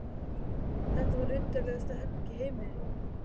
Þetta var undarlegasta herbergi í heimi.